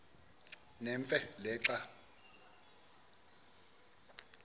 nemfe le xa